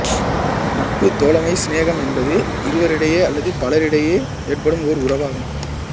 நட்பு தோழமை சினேகம் என்பது இருவரிடையே அல்லது பலரிடையே ஏற்படும் ஓர் உறவாகும்